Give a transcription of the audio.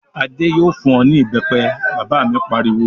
"Adé yóò fún ọ ní ìbẹ́pẹ!" Bàbá mi pariwo.